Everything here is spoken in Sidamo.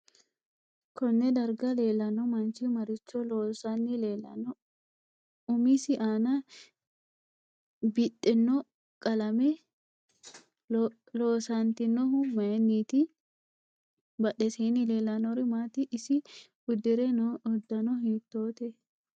Konne darga leelanno manchi maricho loosanni leelanno umise aana biidhino qalame loosantinohu mayiiniti badhesiini leelanori maati isi udire noo uddano hiitoote